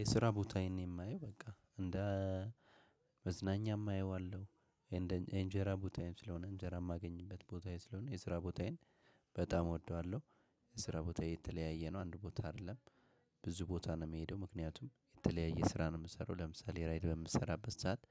የስራ ቦታየን ነው የማየው በቃ እንደ መዝናኛም አየዋለሁ። የእንጀራ ቦታዬም ስለሆነ እንጀራ የማገኝበት ቦታዬ ስለሆነ የስራ ቦታዬን በጣም እወደዋለሁ። የስራ ቦታ የተለያየ ነው አንድ ቦታ አይደለም። ብዙ ቦታ ነው የምሄደው ምክንያቱም የተለያየ ስራ ነው። የምሰራው ለምሳሌ ራይድ በምሰራበት ሰዓት